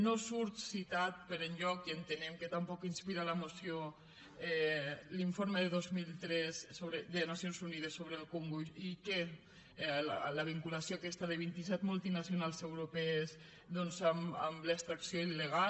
no surt citat per enlloc i entenem que tampoc inspira la moció l’informe de dos mil tres de nacions unides sobre el congo i la vinculació aquesta de vint i set multinacionals europees amb l’extracció il·legal